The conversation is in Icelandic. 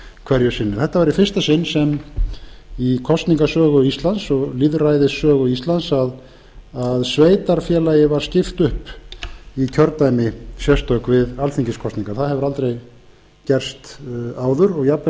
hverju sinni þetta var í fyrsta sinn í kosningasögu og lýðræðissögu íslands að sveitarfélagi var skipt upp í sérstök kjördæmi við alþingiskosningar það hefur aldrei gerst áður og jafnvel